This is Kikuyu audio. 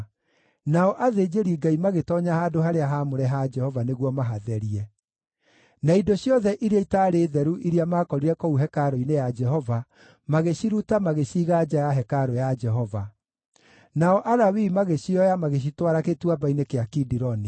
Nao athĩnjĩri-Ngai magĩtoonya handũ-harĩa-haamũre ha Jehova nĩguo mahatherie. Na indo ciothe iria itaarĩ theru iria maakorire kũu hekarũ-inĩ ya Jehova magĩciruta magĩciiga nja ya hekarũ ya Jehova. Nao Alawii magĩcioya magĩcitwara Gĩtuamba-inĩ gĩa Kidironi.